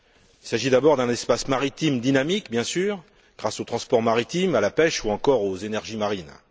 Il s'agit d'abord d'un espace maritime dynamique, bien sûr, grâce au transport maritime, à la pêche ou encore aux énergies marines.